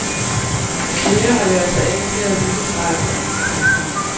Flere har lært sig engelsk ved at lytte til radioen. punktum